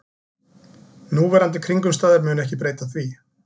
Núverandi kringumstæður munu ekki breyta því